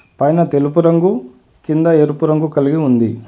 పైన తెలుపు రంగు కింద ఎరుపు రంగు కలిగి ఉంది.